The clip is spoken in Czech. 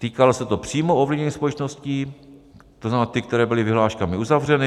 Týkalo se to přímo ovlivněných společností, to znamená ty, které byly vyhláškami uzavřeny.